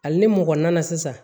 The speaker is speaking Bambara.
Hali ni mɔgɔ nana sisan